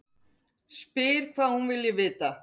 Spyr hvað hún vilji vita.